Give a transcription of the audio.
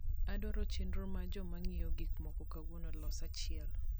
adwaro chenro mar joma ng'iewo gik moko kauono los achiel